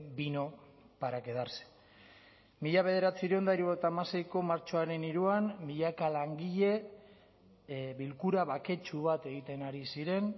vino para quedarse mila bederatziehun eta hirurogeita hamaseiko martxoaren hiruan milaka langile bilkura baketsu bat egiten ari ziren